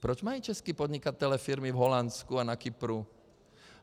Proč mají čeští podnikatelé firmy v Holandsku a na Kypru?